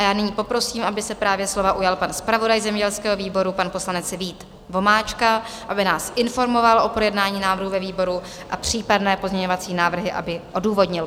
A já nyní poprosím, aby se právě slova ujal pan zpravodaj zemědělského výboru, pan poslanec Vít Vomáčka, aby nás informoval o projednání návrhu ve výboru a případné pozměňovací návrhy aby odůvodnil.